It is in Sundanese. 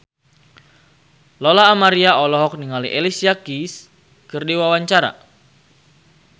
Lola Amaria olohok ningali Alicia Keys keur diwawancara